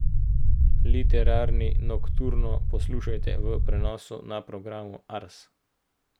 Literarni nokturno poslušajte v prenosu na programu Ars.